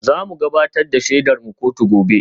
Za mu gabatar da shaidarmu kotu gobe